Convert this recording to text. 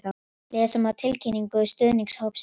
Lesa má tilkynningu stuðningshópsins hér